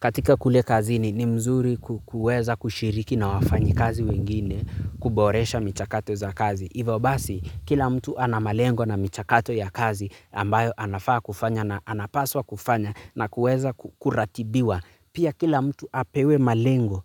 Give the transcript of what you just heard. Katika kule kazini ni mzuri kuweza kushiriki na wafanyikazi wengine kuboresha michakato za kazi. Hivyo basi kila mtu ana malengo na michakato ya kazi ambayo anafaa kufanya na anapaswa kufanya na kuweza kuratibiwa pia kila mtu apewe malengo